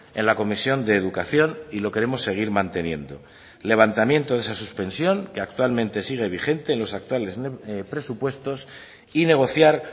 en la comisión de educación y lo queremos seguir manteniendo levantamiento de esa suspensión que actualmente sigue vigente en los actuales presupuestos y negociar